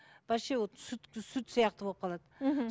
вообще вот сүт сүт сияқты болып қалады мхм